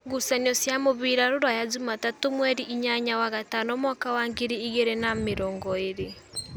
Ngucanio cia mũbira Ruraya Jumatatũ mweri inyanya wa gatano mwaka wa ngiri igĩrĩ na namĩrongoĩrĩ: